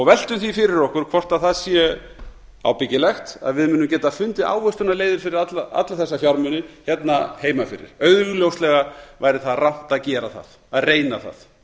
veltum því fyrir okkur hvort það sé ábyggilegt að við munum geta fundið ávöxtunarleiðir fyrir alla þessa fjármuni hér heima fyrir augljóslega væri það rangt að gera það að reyna það